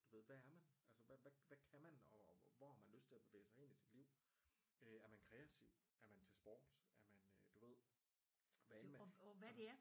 Du ved hvad er man altså hvad kan man og hvor har man lyst til at bevæge sig hen i sit liv øh er man kreativ er man til sport er man øh du ved hvad end man altså